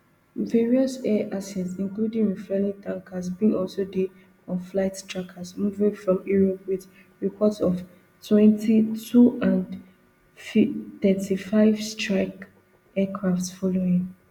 various air assets including refuelling tankers bin also dey on flight trackers moving from europe with reports of ftwenty-two and fthirty-five strike aircraft following